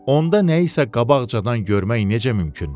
onda nəyisə qabaqcadan görmək necə mümkündür?